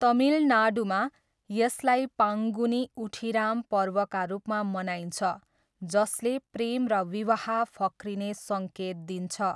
तमिलनाडुमा, यसलाई पाङ्गुनी उठिराम पर्वका रूपमा मनाइन्छ जसले प्रेम र विवाह फक्रिने सङ्केत दिन्छ।